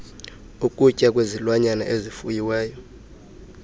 ukutya kwezilwanyana ezifuyiweyo